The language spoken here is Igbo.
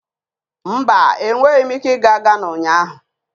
Mba, enweghị m ike ịga Ghana ụnyahụ.